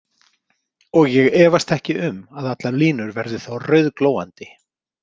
Og ég efast ekki um að allar línur verða þá rauðglóandi.